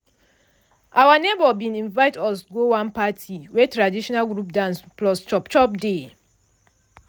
our neighbor bin invite us go one party wey traditional group dance plus chop chop dey.